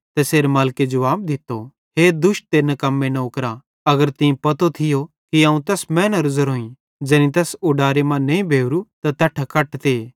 तैसेरे मालिके जुवाब दित्तो हे दुष्ट ते निकम्मे नौकरा अगर तीं पतो थियो कि अवं तैस मैनेरो ज़ेरोईं ज़ैनी ज़ैस उडारे मां नईं बेवरू त तैट्ठां कटते